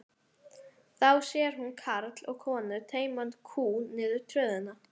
Þá sér hún karl og konu teyma kú niður tröðina.